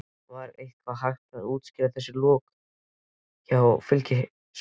Var eitthvað hægt að útskýra þessi lok leiks hjá Fylkismönnum?